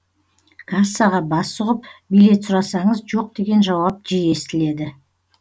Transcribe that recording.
кассаға бас сұғып билет сұрасаңыз жоқ деген жауап жиі естіледі